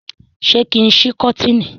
ṣe kín sí koteeni?